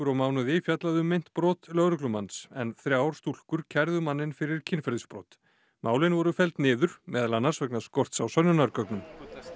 og mánuði fjallað um meint brot lögreglumanns en þrjár stúlkur kærðu manninn fyrir kynferðisbrot málin voru felld niður meðal annars vegna skorts á sönnunargögnum